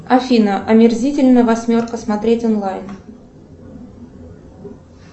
афина омерзительная восьмерка смотреть онлайн